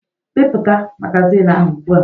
Bipụta magazin ahụ ugbu a!